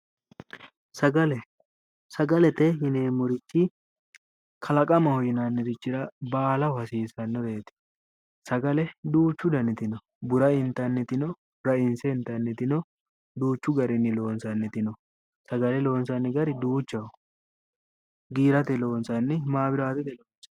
Sagale, sagale yinneemmorichi kalaqamaho yinnanirichira baalaho hasiisanorichoti ,sagale duuchu danniti no, burra intanniti ,rainse. intanniti no, duuchu garinni loonsanniti no, sagale loonsanni gari duuchaho giirate loonsanni maabiratete loonsanni